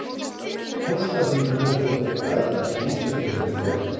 Fóstra þínum hefði þótt bragð að því sem þú hefur gert.